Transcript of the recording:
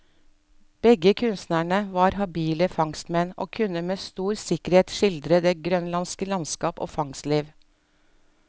Begge kunstnerne var habile fangstmenn, og kunne med stor sikkerhet skildre det grønlandske landskap og fangstliv.